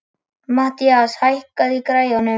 Mathías, hækkaðu í græjunum.